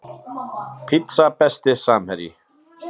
pizza Besti samherji?